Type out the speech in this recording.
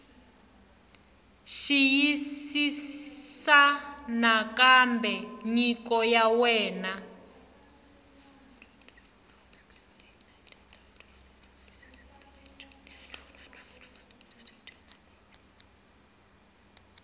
xiyisisisa nakambe nyiko ya wena